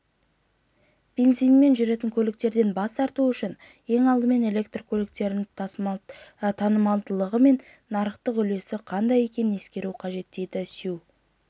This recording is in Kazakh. бензинмен жүретін көліктерден бас тарту үшін ең алдымен электрлі көліктердің танымалдылығы мен нарықтағы үлесі қандай екенін ескеру керек дейді сюй